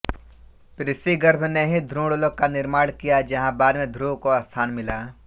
पृश्निगर्भ ने ही ध्रुवलोक का निर्माण किया जहां बाद में ध्रुव को स्थान मिला